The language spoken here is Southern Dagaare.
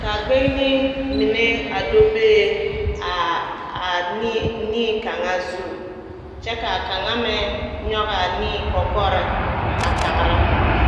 ka a gbeŋini mine a do bee aa aa a nii, nii kaŋa zu kyԑ ka a kaŋa meŋ nyͻge a nii kͻkͻre a tagera.